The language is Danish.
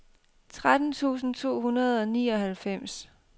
tretten tusind to hundrede og nioghalvfems